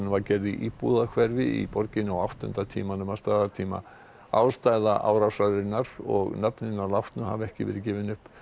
var gerð í íbúðahverfi í borginni á áttunda tímanum að staðartíma ástæða og nöfn hinna látnu hafa ekki verið gefin upp